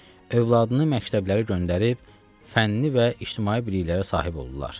Övladını məktəblərə göndərib fənni və ictimai biliklərə sahib olurlar.